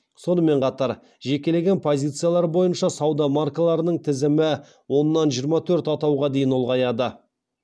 сонымен қатар жекелеген позициялар бойынша сауда маркаларының тізімі оннан жиырма төрт атауға дейін ұлғаяды